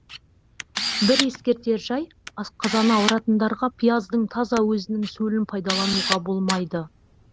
бір ескертер жай асқазаны ауыратындарға пияздың таза өзінің сөлін пайдалануға болмайды